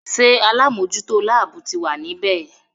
Ṣé alámòjútó láàbù ti wà ní bẹ̀?